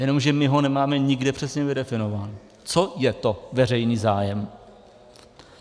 Jenomže my ho nemáme nikde přesně vydefinován, co je to veřejný zájem.